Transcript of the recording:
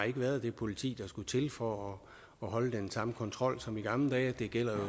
ikke været det politi der skulle til for at holde den samme kontrol som i gamle dage det gælder